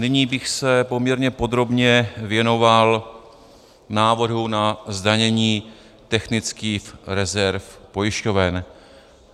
Nyní bych se poměrně podrobně věnoval návrhu na zdanění technických rezerv pojišťoven.